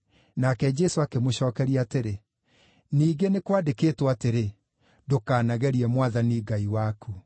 Nake Jesũ akĩmũcookeria atĩrĩ, “Ningĩ nĩ kwandĩkĩtwo atĩrĩ: ‘Ndũkanagerie Mwathani Ngai waku.’ ”